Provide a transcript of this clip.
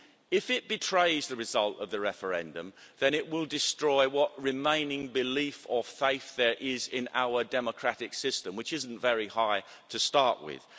If it betrays the result of the referendum then it will destroy what remaining belief or faith there is in our democratic system, which isn't very high to start with.